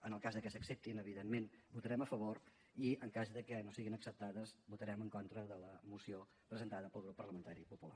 en el cas de que s’acceptin evidentment votarem a favor i en cas de que no siguin acceptades votarem en contra de la moció presentada pel grup parlamentari popular